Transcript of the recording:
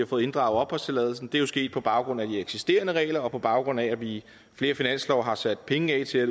fået inddraget opholdstilladelsen det er jo sket på baggrund af de eksisterende regler og på baggrund af at vi i flere finanslove har sat penge af til at